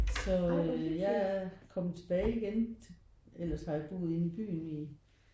Så jeg kom tilbage igen ellers har jeg boet inde i byen i